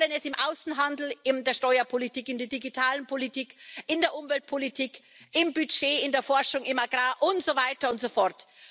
Wir wollen es im Außenhandel, in der Steuerpolitik, in der Digitalpolitik, in der Umweltpolitik, im Budget, in der Forschung, bei Agrar und so weiter und so fort.